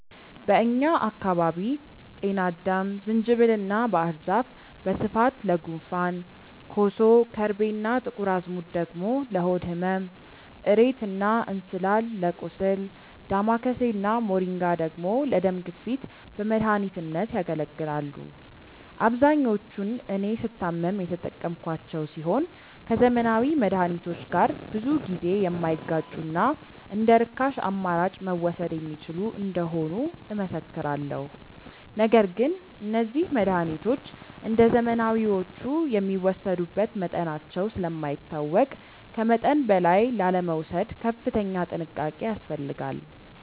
በእኛ አካባቢ ጤናአዳም፣ ዝንጅብል እና ባህር ዛፍ በስፋት ለጉንፋን፣ ኮሶ፣ ከርቤ እና ጥቁር አዝሙድ ደግሞ ለሆድ ህመም፣ እሬት እና እንስላል ለቁስል፣ ዳማከሴ እና ሞሪንጋ ደግሞ ለደም ግፊት በመድኃኒትነት ያገለግላሉ። አብዛኞቹን እኔ ስታመም የተጠቀምኳቸው ሲሆን ከዘመናዊ መድሃኒቶች ጋር ብዙ ጊዜ የማይጋጩና እንደርካሽ አማራጭ መወሰድ የሚችሉ እንደሆኑ እመሰክራለሁ። ነገር ግን እነዚህ መድሃኒቶች እንደዘመናዊዎቹ የሚወሰዱበት መጠናቸው ስለማይታወቅ ከመጠን በላይ ላለመውሰድ ከፍተኛ ጥንቃቄ ያስፈልጋል።